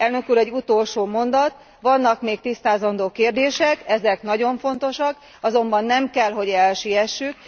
Elnök úr, egy utolsó mondat vannak még tisztázandó kérdések, ezek nagyon fontosak, azonban nem kell, hogy elsiessük.